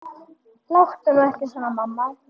Láttu nú ekki svona mamma.